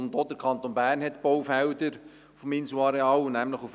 Auch der Kanton Bern hat Baufelder auf dem Inselareal: